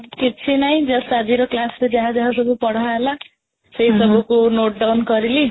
କିଛିନାହିଁ just ଆଜିର class ରେ ଯାହା ଯାହା ସବୁ ପଢାହେଲା ସେ ସବୁକୁ note down କରିଲି